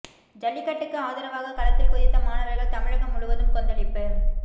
ஜல்லிக்கட்டுக்கு ஆதரவாக களத்தில் குதித்த மாணவர்கள் தமிழகம் முழுவதும் கொந்தளிப்பு